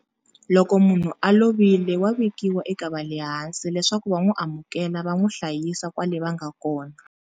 Loko munhu a lovile wa vikiwa eka va le hansi leswaku va n'wi amukela va n'wi hlayisa kwale va nga kona.